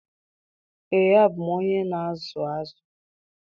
Ee, abụ m onye na-azụ azụ